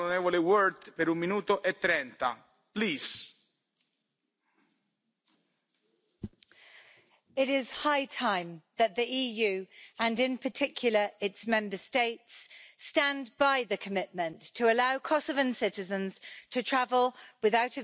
Mr President, it is high time that the EU, and in particular its Member States, stand by the commitment to allow Kosovan citizens to travel without a visa to the European Union.